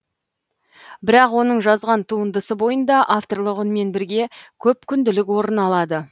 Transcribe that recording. бірақ оның жазған туындысы бойында авторлық үнмен бірге көпүнділік орын алады